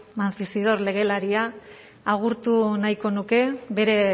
mancisidor legelaria agurtu nahiko nuke bere